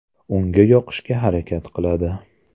Unga yoqishga harakat qiladi.